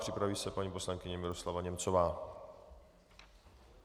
Připraví se paní poslankyně Miroslava Němcová.